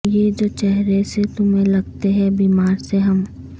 یہ جو چہرے سے تمہیں لگتے ہیں بیمار سے ہم